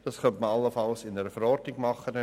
Man könnte es allenfalls in einer Verordnung tun.